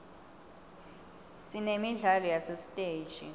sinemidlalo yasesiteji